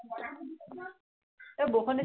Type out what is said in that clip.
এৰ বৰষুণ দিছিলে